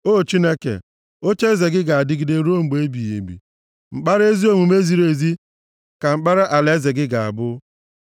O Chineke, ocheeze gị ga-adịgide ruo mgbe ebighị ebi, mkpara omume ziri ezi ka mkpara alaeze gị ga-abụ